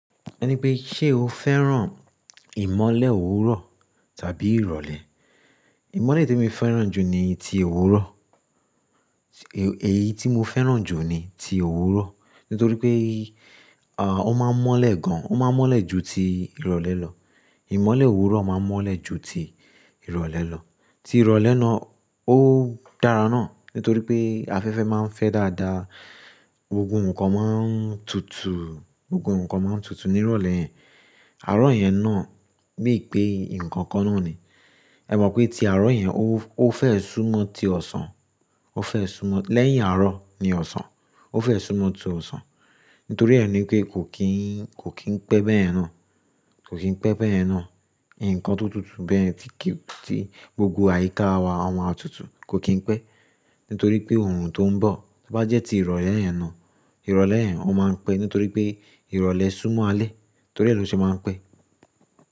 Ẹni pé ṣe o fẹ́ràn ìmọ́lẹ̀ òwúrọ̀ tàbí ìrọ̀lẹ́? Ìmọ́lẹ̀ tí mo fẹ́ràn jù ni ti òwúrọ̀. Èyí tí mo fẹ́ràn jù ni ti òwúrọ̀. Nítorí pé, à, ó máa ń mọ́lẹ̀ gan, ó máa ń mọ́lẹ̀ ju ti ìrọ̀lẹ́ lọ. Ìmọ́lẹ̀ òwúrọ̀ máa ń mọ́lẹ̀ ju ti ìrọ̀lẹ́ lọ. Ti ìrọ̀lẹ́ náà ó dára náà nítorí pé afẹ́fẹ́ máa ń fẹ́ dáadáa, gbogbo ǹkan máa ń tutù, gbogbo ǹkan máa ń tutù ní ìrọ̀lẹ́. Àárọ̀ yẹn náà bí i pé ǹkan kan náà ni. Ẹ mọ̀ pé ti àárọ̀ yẹn ó, ó fẹ́ súmọ́ ti ọ̀sán, ó fẹ́ súmọ́-- lẹ́yìn àárọ̀ ni ọ̀sán. Ó fẹ́ súmọ́ ti ọ̀sán. Nítorí ẹni pé kò kín, kò kín pẹ́ bẹ́yen náà, kò kín pẹ́ bẹ́ẹ̀ náà. Ǹkan tó tutù bẹ́ẹ̀ ti kìí, ti gbogbo àyíká wa, ọma à tutù kò kín pẹ́. Nítorí pé orun tó ń bọ̀, tí ó bá jẹ́ ti ìrọ̀lẹ́ yẹn náà, ìrọ̀lẹ́ yẹn ó máa ń pẹ́. Nítorí pé ìrọ̀lẹ́ súmọ́ alẹ́, torí ẹ lọ ṣe máa ń pẹ́.